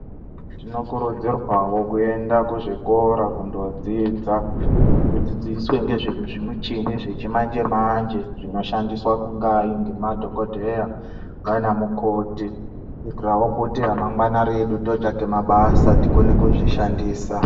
Tino kurudzirwa wo kuenda kuzvikora kundodzidza tidzidziswe ndezve zvimuchini zvechimanje manje zvinoshandiswa kungai nema dhokodheya nanamukoti kuitirawo kuti remangwana redu totsvake mabasa tikone kuzvishandisa .